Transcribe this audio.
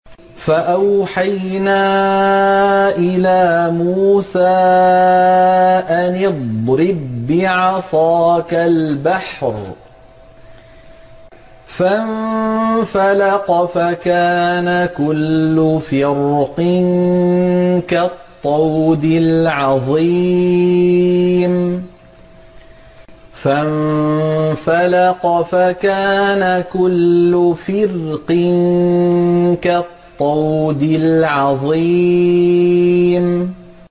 فَأَوْحَيْنَا إِلَىٰ مُوسَىٰ أَنِ اضْرِب بِّعَصَاكَ الْبَحْرَ ۖ فَانفَلَقَ فَكَانَ كُلُّ فِرْقٍ كَالطَّوْدِ الْعَظِيمِ